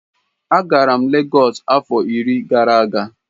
Agara m Lagos afo iri gara aga.